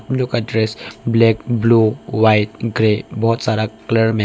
लोगों की dress black blue white grey बहुत सारा कलर में--